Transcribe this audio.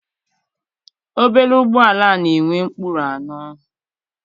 Obere ụgbọala na-enwe ụkpụrụ anọ.